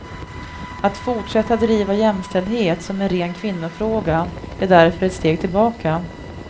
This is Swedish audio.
Att fortsätta driva jämställdhet som en ren kvinnofråga är därför ett steg tillbaka.